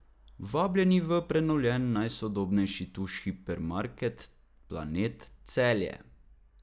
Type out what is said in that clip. Vabljeni v prenovljen, najsodobnejši Tuš hipermarket Planet Celje.